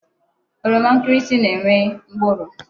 Oroma nkirisi na-enwe mkpụrụ.